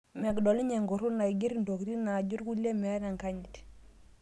Medol ninye enkuruna aiger intokitin naajo irkulie meeta enkanyit